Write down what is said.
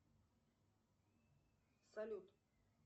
салют